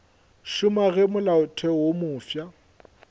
šoma ge molaotheo wo mofsa